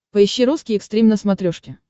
поищи русский экстрим на смотрешке